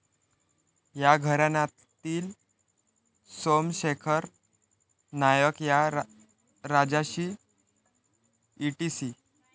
या घराण्यातील सोमशेखर नायक या राजाशी ईटीसी.